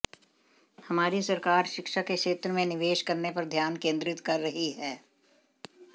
हमारी सरकार शिक्षा के क्षेत्र में निवेश करने पर ध्यान केंद्रित कर रही है